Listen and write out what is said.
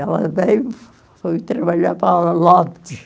Ela veio, foi trabalhar para